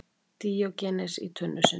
Díógenes í tunnu sinni.